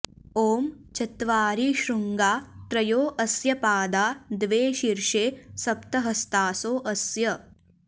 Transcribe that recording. ॐ चत्वारि शृङ्गा त्रयो अस्य पादा द्वे शीर्षे सप्त हस्तासो अस्य